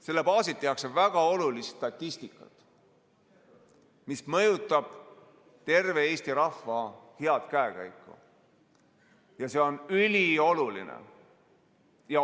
Selle baasilt tehakse väga olulist statistikat, mis mõjutab terve Eesti rahva head käekäiku, ja see on ülioluline.